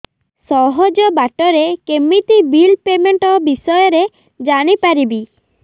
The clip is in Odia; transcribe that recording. ସହଜ ବାଟ ରେ କେମିତି ବିଲ୍ ପେମେଣ୍ଟ ବିଷୟ ରେ ଜାଣି ପାରିବି